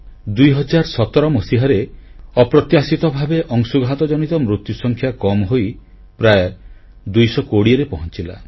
2017 ମସିହାରେ ଅପ୍ରତ୍ୟାଶିତ ଭାବେ ଅଂଶୁଘାତ ଜନିତ ମୃତ୍ୟୁସଂଖ୍ୟା କମ୍ ହୋଇ ପ୍ରାୟ 220ରେ ପହଂଚିଲା